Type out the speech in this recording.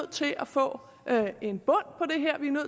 til at få en bund